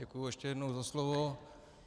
Děkuji ještě jednou za slovo.